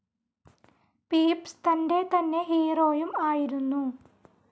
Pepys തന്റെതന്നെ ഹീറോയും ആയിരുന്നു